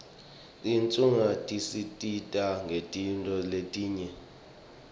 tincuadzi tisisita ngetintfo letinyenti